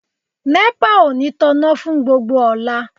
Nepa ò ní tanná fún gbogbo ọ̀la.